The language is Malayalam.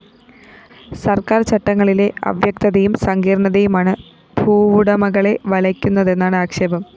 സര്‍ക്കാര്‍ ചട്ടങ്ങളിലെ അവ്യക്തതയും സങ്കീര്‍ണതയുമാണ് ഭൂവുടമകളെ വലയ്ക്കുന്നതെന്നാണ് ആക്ഷേപം